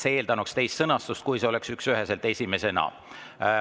See eeldanuks teist sõnastust, kui, et esimesena.